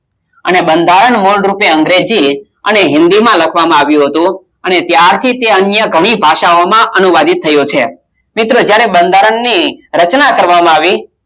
અને બંધારણ મૂળરૂપે અંગ્રેજી અને હિન્દીમાં લખવામાં આવ્યું હતું અને ત્યારથી તે અન્ય ઘણી ભાષાઓમાં અનુવાદિત થયું છે મિત્ર જ્યારે બંધારણની રચના કરવામાં આવી